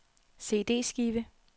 CD-skive